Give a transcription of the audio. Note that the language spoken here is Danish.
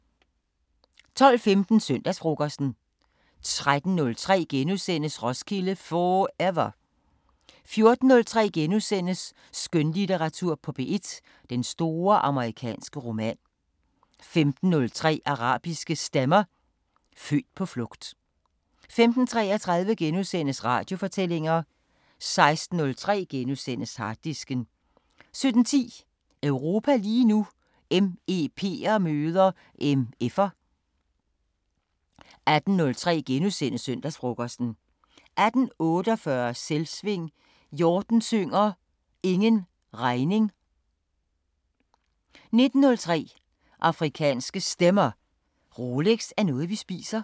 12:15: Søndagsfrokosten 13:03: Roskilde 4ever * 14:03: Skønlitteratur på P1: Den store amerikanske roman * 15:03: Arabiske Stemmer: Født på flugt 15:33: Radiofortællinger * 16:03: Harddisken * 17:10: Europa lige nu: MEP'er møder MF'er 18:03: Søndagsfrokosten * 18:48: Selvsving – Hjorten synger: Ingen regning 19:03: Afrikanske Stemmer: Rolex er noget vi spiser